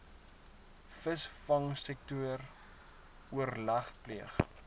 visvangsektor oorleg pleeg